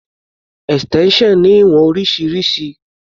Extension ní ìwọ̀n oríṣiríṣi.